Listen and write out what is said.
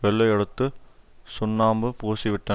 வெள்ளையடுத்துச் சுண்ணாம்பு பூசிவிட்ட